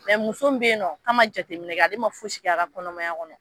Mɛ muso bɛ yen nɔn k'a ma jateminɛ kɛ, ale ma fosi kɛ a ka kɔnɔmaya kɔnɔ.